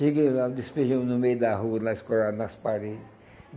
Cheguei lá, despejamos no meio da rua, lá escorado, nas parede.